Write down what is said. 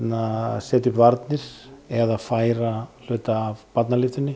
setja upp varnir eða færa hluta af